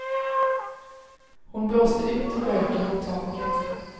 Hon blåste ut röken mot taket.